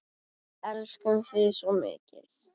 Við elskum þig svo mikið.